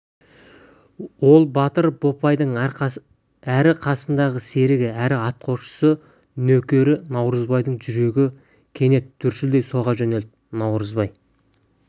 ол батыр бопайдың әрі қасындағы серігі әрі атқосшы нөкері наурызбайдың жүрегі кенет дүрсілдей соға жөнелді наурызбай